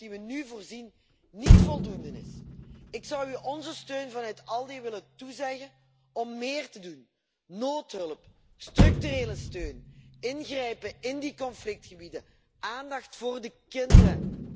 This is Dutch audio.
Ik vrees dat de noodhulp die we nu uittrekken, niet voldoende is. Ik zou u onze steun vanuit ALDE willen toezeggen om meer te doen noodhulp, structurele steun, ingrijpen in die conflictgebieden, aandacht voor de kinderen.